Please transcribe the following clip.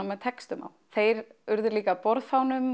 með textum á þeir urðu líka að borðfánum